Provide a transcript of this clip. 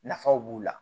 Nafaw b'u la